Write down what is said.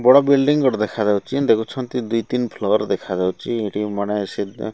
ବଡ଼ ବିଲଡିଂ ଗୋଟେ ଦେଖାଯାଉଚି ଦେଖୁଛନ୍ତି ଦୁଇ ତିନ ଫ୍ଲୋର ଦେଖାଯାଉଚି ଏଠି ମାନେ ସେ ଦ --